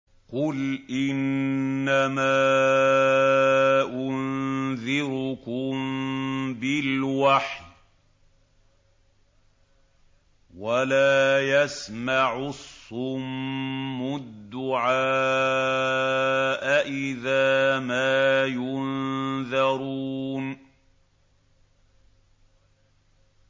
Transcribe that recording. قُلْ إِنَّمَا أُنذِرُكُم بِالْوَحْيِ ۚ وَلَا يَسْمَعُ الصُّمُّ الدُّعَاءَ إِذَا مَا يُنذَرُونَ